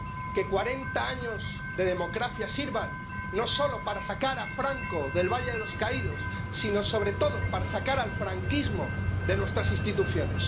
que cuarenta años de democracia sirvan, no solo para sacar a Franco del Valle de los Caídos, sino, sobre todo, para sacar el franquismo de nuestras instituciones.